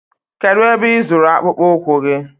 Kedụ ebe ị zụrụ akpụkpụ ụkwụ gị?